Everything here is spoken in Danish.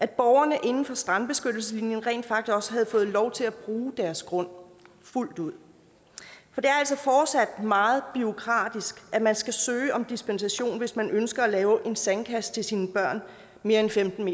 borgerne inden for strandbeskyttelseslinjen rent faktisk også havde fået lov til at bruge deres grund fuldt ud for det er altså fortsat meget bureaukratisk at man skal søge om dispensation hvis man ønsker at lave en sandkasse til sine børn mere end femten